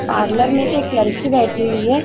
Parlour में एक लडकी बैठी हुई है।